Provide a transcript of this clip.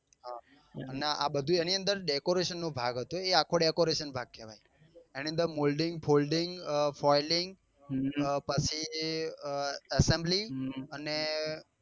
નાં આ બધું એની અંદર decoration નો ભાગ હતો એ આખો decoration ભાગ કેવાય એની અંદર molding folding foyding અ પછી assembly અને